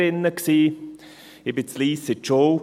Ich ging in Lyss zur Schule.